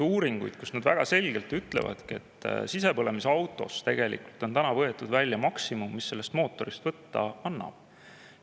Nad ütlesid väga selgelt, et sisepõlemismootorist on tegelikult välja võetud maksimum, mis sellest mootorist võtta annab.